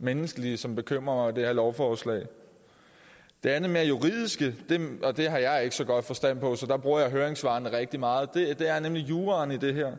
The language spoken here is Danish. menneskelige som bekymrer mig i det her lovforslag det andet mere juridiske og det har jeg ikke så god forstand på så der bruger jeg høringssvarene rigtig meget er nemlig juraen i det her